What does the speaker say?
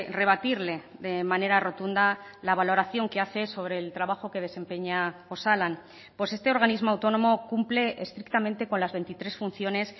rebatirle de manera rotunda la valoración que hace sobre el trabajo que desempeña osalan pues este organismo autónomo cumple estrictamente con las veintitrés funciones